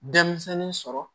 Denmisɛnnin sɔrɔ